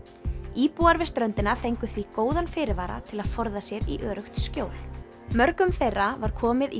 íbúar við ströndina fengu því góðan fyrirvara til að forða sér í öruggt skjól mörgum þeirra var komið í